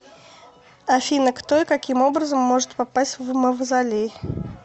афина кто и каким образом может попасть в мавзолей